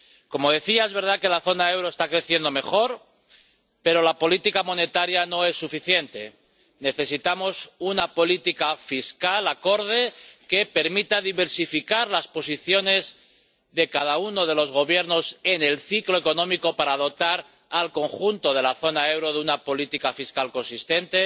Como decía, es verdad que la zona del euro está creciendo mejor, pero la política monetaria no es suficiente necesitamos una política fiscal acorde, que permita diversificar las posiciones de cada uno de los Gobiernos en el ciclo económico para dotar al conjunto de la zona del euro de una política fiscal consistente.